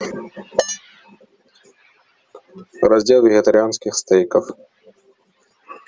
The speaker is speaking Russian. раздел вегетарианских стейков